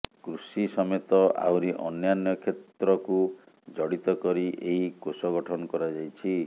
କୃଷି ସମେତ ଆହୁରି ଅନ୍ୟାନ୍ୟ କ୍ଷେତ୍ରକୁ ଜଡ଼ିତ କରି ଏହି କୋଷ ଗଠନ କରାଯାଇଛି